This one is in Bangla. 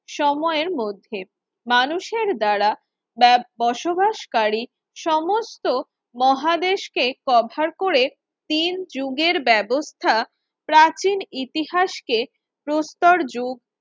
সময়ের মধ্যে মানুষের দ্বারা ব্যব বসবাসকারী সমস্ত মহাদেশকে কভার করে তিন যুগের ব্যবস্থা প্রাচীন ইতিহাসকে প্রস্তর যুগ